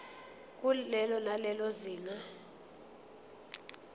kulelo nalelo zinga